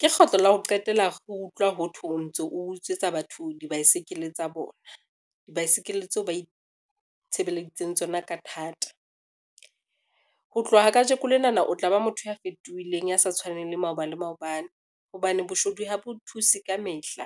Ke kgetlo la ho qetela re utlwa ho thwe o ntso o utswetsa batho dibaesekele tsa bona, dibaesekele tseo ba itshebeleditseng tsona ka thata. Ho tloha kajeko lenana o tla ba motho a fetohileng, ya sa tshwaneng le maoba le maobane, hobane boshodu ha bo thuse ka mehla.